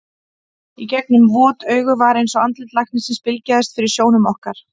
Í gegnum vot augun var eins og andlit læknisins bylgjaðist fyrir sjónum okkar.